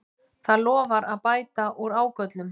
Það lofar að bæta úr ágöllum